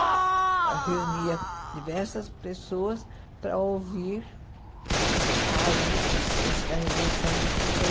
Eu reunia diversas pessoas para ouvir as notícias da Revolução de trinta e